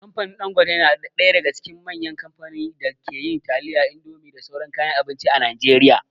Kamfanin Ɗangote na daga cikin manyan kamfanin da ke yin taliya, indomie da sauran kayan abinci a Najeriya.